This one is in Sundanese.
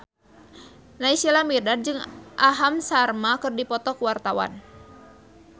Naysila Mirdad jeung Aham Sharma keur dipoto ku wartawan